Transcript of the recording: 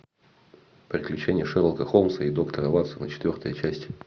приключения шерлока холмса и доктора ватсона четвертая часть